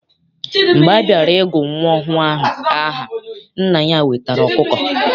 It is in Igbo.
Mgbe a bịara I gụ nwa ọhụụ ahụ aha, nna ya wetara ọkụkọ.